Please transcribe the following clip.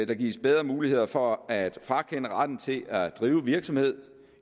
der gives bedre muligheder for at frakende retten til at drive virksomhed